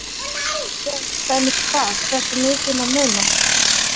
Vissi löggjafinn til dæmis hvað, hversu mikið má muna?